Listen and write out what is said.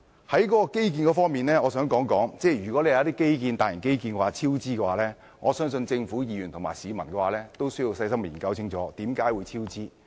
關於基建方面，如果有些大型基建超支，我相信政府、議員和市民都需要細心研究為甚麼超支。